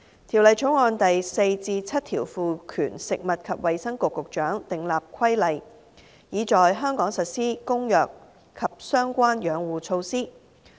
《條例草案》第4至7條賦權食物及衞生局局長訂立規例，以在香港實施《公約》及相關養護措施。